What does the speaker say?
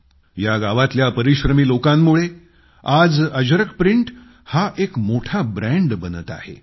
या गावातल्या परिश्रमी लोकांमुळे आज अजरक प्रिंट एक मोठा ब्रँड बनत आहे